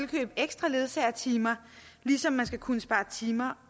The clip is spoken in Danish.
købe ekstra ledsagertimer ligesom man skal kunne spare timer